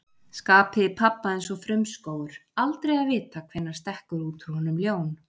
Skapið í pabba eins og frumskógur, aldrei að vita hvenær stekkur út úr honum ljón.